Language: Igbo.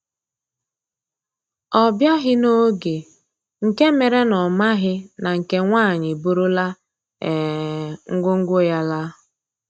Ọ biaghi n'oge nke mere na ọ maghị na nke nwaanyị eburula um ngwo ngwo ya laa